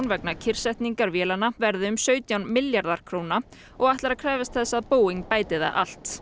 vegna kyrrsetningar vélanna verði um sautján milljarðar króna og ætlar að krefjast þess að Boeing bæti það allt